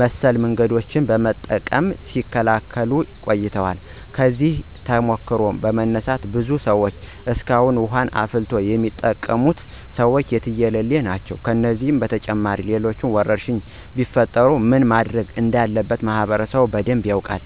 መሰል መንገዶችን በመጠቀም ሲከላከሉት ቆይተዋል። ከዚህ ተሞክሮ በመነሳት ብዙ ሰዎች እስካሁን ውሀን አፍልቶ የሚጠቀሙት ሰዎች የትየለሌ ናቸው። ከዚህም በተጨማሪ ሌሎች ወረርሽኞች ቢፈጠሩ ምን ማድረግ እንዳለበት ማህበረሰቡ በደንብ ያውቃል።